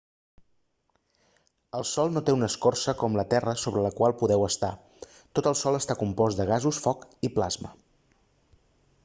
el sol no té una escorça com la terra sobre la qual podeu estar tot el sol està compost de gasos foc i plasma